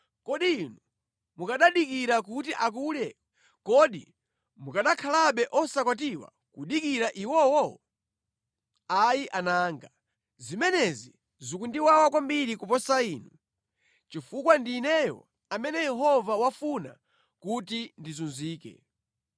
kodi inu mukanadikira kuti akule? Kodi mukanakhalabe osakwatiwa kudikira iwowo? Ayi ana anga. Zimenezi zikundiwawa kwambiri kuposa inu, chifukwa ndi ineyo amene Yehova wafuna kuti ndizunzike.”